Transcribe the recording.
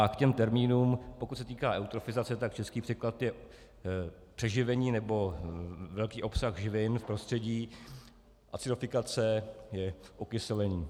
A k těm termínům, pokud se týká eutrofizace, tak český překlad je přeživení nebo velký obsah živin v prostředí, acidifikace je okyselení.